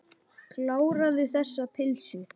Kláraðu þessa pylsu.